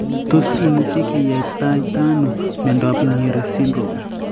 os imuchi kiyaptaita ano miondop Myhre syndrome?